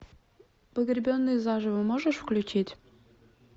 погребенный заживо можешь включить